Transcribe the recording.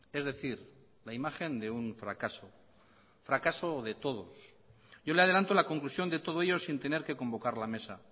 es decir la imagen de un fracaso fracaso de todos yo le adelanto la conclusión de todo ello sin tener que convocar la mesa